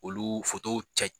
Olu cɛ